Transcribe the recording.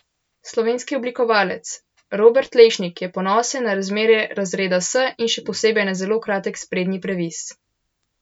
Slovenski oblikovalec Robert Lešnik je ponosen na razmerja razreda S in še posebej na zelo kratek sprednji previs.